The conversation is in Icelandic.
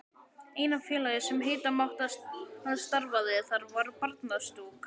Eina félagið, sem heita mátti að starfaði þar, var Barnastúkan.